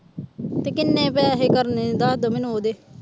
ਤੇ ਕਿੰਨੇ ਪੈਸੇ ਕਰਨੇ ਦੱਸ ਦਓ ਮੈਨੂੰ ਉਹਦੇ।